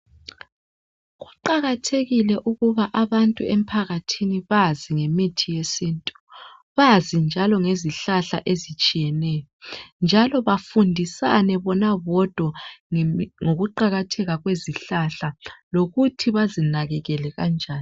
Kuqakathekile ukuba abantu emphakathini bazi ngemithi yesintu bazi njalo ngezihlahla ezitshiyeneyo njalo bafundisane bona bodwa ngokuqakatheka kwezihlahla lokuthi bazinakekele kanjani.